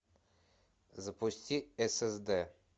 запусти ссд